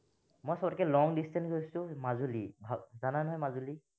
মই সবতকে long distance গৈছো মাজুলী, আহ জানা নহয় মাজুলী?